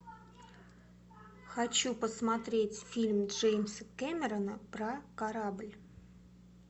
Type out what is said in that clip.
хочу посмотреть фильм джеймса кэмерона про корабль